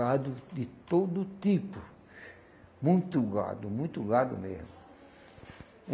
Gado de todo tipo, muito gado, muito gado mesmo.